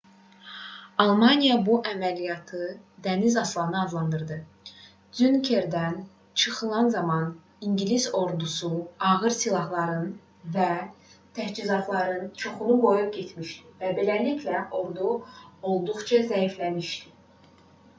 almaniya bu əməliyyatı dəniz aslanı adlandırdı. dünkerkdən çıxarılan zaman i̇ngilis ordusu ağır silahlarının və təchizatlarının çoxunu qoyub getmişdi və beləliklə ordu olduqca zəifləmişdi